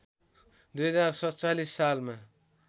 २०४७ सालमा